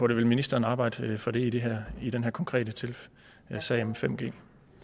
det vil ministeren arbejde for det i det i den her konkrete sag om 5g